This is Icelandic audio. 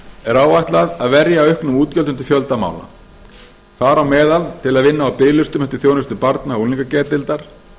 er áætlað að verja auknum útgjöldum til fjölda mála þar á meðal til að vinna á biðlistum eftir þjónustu barna og unglingageðdeildar